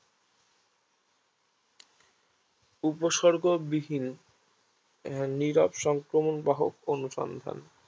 উপসর্গ বিহীন নিরব সংক্রমক বাহক অনুসন্ধান